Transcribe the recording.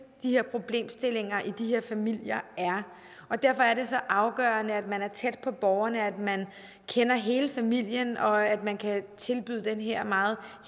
de her problemstillinger i de her familier er og derfor er det så afgørende at man er tæt på borgerne at man kender hele familien og at man kan tilbyde den her meget